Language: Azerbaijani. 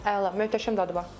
Əla, möhtəşəm dadı var.